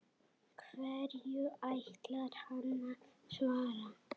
Hverju ætlar hann að svara?